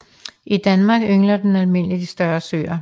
I Danmark yngler den almindeligt i større søer